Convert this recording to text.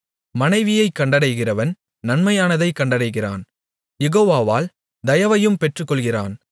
மனைவியைக் கண்டடைகிறவன் நன்மையானதைக் கண்டடைகிறான் யெகோவாவால் தயவையும் பெற்றுக்கொள்ளுகிறான்